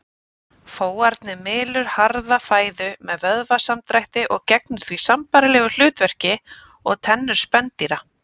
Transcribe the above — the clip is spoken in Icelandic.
Fóarnið mylur harða fæðu með vöðvasamdrætti og gegnir því sambærilegu hlutverki og tennur spendýra.